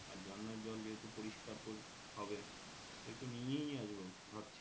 আর ঝর্নার জল যেহেতু পরিস্কার হবে একটু নিয়েই আসব ভাবছি